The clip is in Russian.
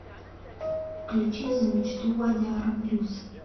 включи за мечту вадяра блюз